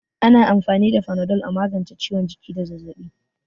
Ana amfani da Panadol a magance ciwon jiki da zazzabi.